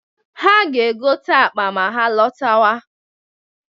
Ha ga-egote akpa ma ha lọtawa.